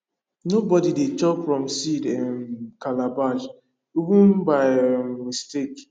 nobody dey chop from seed um calabash even by um mistake